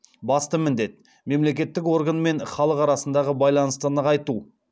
басты міндет мемлекеттік орган мен халық арасындағы байланысты нығайту